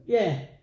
Jah